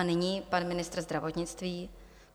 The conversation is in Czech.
A nyní pan ministr zdravotnictví.